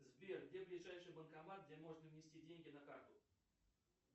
сбер где ближайший банкомат где можно внести деньги на карту